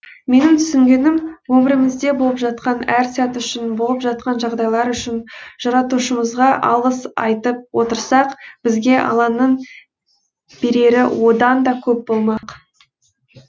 менің түсінгенім өмірімізде болып жатқан әр сәт үшін болып жатқан жағдайлар үшін жаратушымызға алғыс айтып отырсақ бізге алланың берері одан да көп болмақ